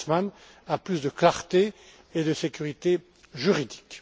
Creutzmann à plus de clarté et de sécurité juridique.